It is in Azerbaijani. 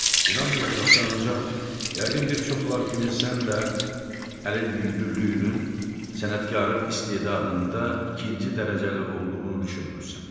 İnanmayacaqsan, ancaq yəqin bir çoxlar kimi sən də əlin yüngüllüyünün sənətkarın istedadında ikinci dərəcəli olduğunu düşünmürsən.